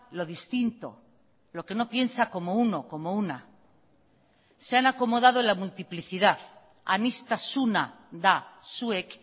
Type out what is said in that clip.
lo distinto lo que no piensa como uno como una se han acomodado en la multiplicidad aniztasuna da zuek